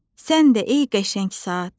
Sən də ey qəşəng saat.